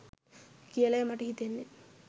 කියලයි මට හිතෙන්නෙ.